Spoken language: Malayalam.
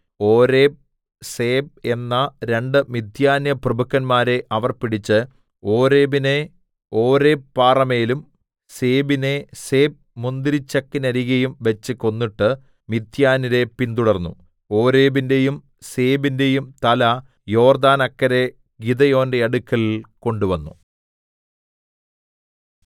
ഓരേബ് സേബ് എന്ന രണ്ടു മിദ്യാന്യപ്രഭുക്കന്മാരെ അവർ പിടിച്ച് ഓരേബിനെ ഓരേബ് പാറമേലും സേബിനെ സേബ് മുന്തിരിച്ചക്കിന്നരികെയും വെച്ച് കൊന്നിട്ട് മിദ്യാന്യരെ പിന്തുടർന്നു ഓരേബിന്റെയും സേബിന്റെയും തല യോർദ്ദാനക്കരെ ഗിദെയോന്റെ അടുക്കൽ കൊണ്ടുവന്നു